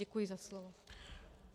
Děkuji za slovo.